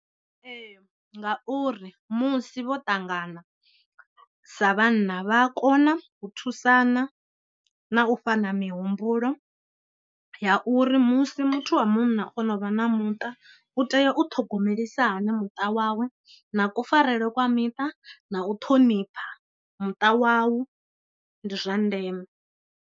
Ee, ngauri musi vho ṱangana sa vhanna vha a kona u thusana na u fhana mihumbulo ya uri musi muthu wa munna o no vha na muṱa u tea u thogomelisiwa hani muṱa wawe, na kufarelwe kwa miṱa, na u thonipha muṱa wawu ndi zwa ndeme.